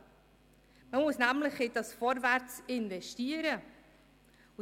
Man muss nämlich in dieses Vorwärts investieren.